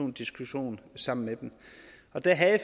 en diskussion sammen med dem der havde